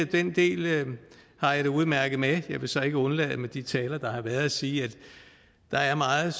den del har jeg det udmærket med jeg vil så ikke undlade med de taler der har været at sige at der er meget